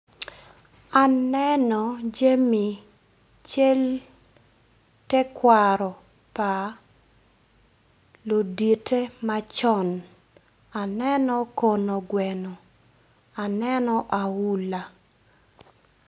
Aneno jami cel tekwaro pa luditte macon aneno kono gweno aneno aula.